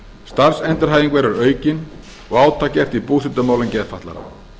starfsendurhæfing verður aukin og átak gert í búsetumálum geðfatlaðra